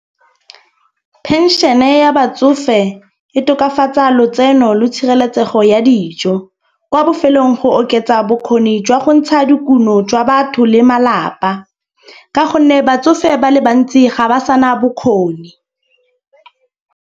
Penšene ya batsofe e tokafatsa lotseno lo tshireletsego ya dijo. Kwa bofelong go oketsa bokgoni jwa go ntsha dikuno jwa batho le malapa. Ka gonne batsofe ba le bantsi ga ba sana bokgoni.